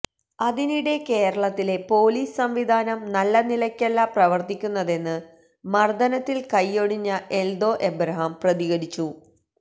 അതിനിടെ കേരളത്തിലെ പൊലീസ് സംവിധാനം നല്ല നിലയ്ക്കല്ല പ്രവര്ത്തിക്കുന്നതെന്ന് മര്ദ്ദനത്തില് കൈയൊടിഞ്ഞ എല്ദോ എബ്രഹാം പ്രതികരിച്ചു